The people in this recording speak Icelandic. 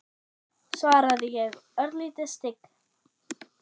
svaraði ég, örlítið stygg.